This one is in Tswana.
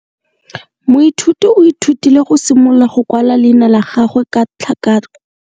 Moithuti o ithutile go simolola go kwala leina la gagwe ka tlhakakgolo.